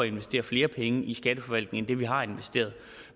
investere flere penge i skatteforvaltningen end det vi har investeret